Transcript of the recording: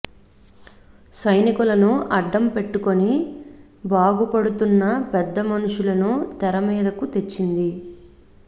సైనికులను అడ్డం పెట్టుకొని బాగుపడుతున్న పెద్ద మనుషులను తెర మీదకు తెచ్చింది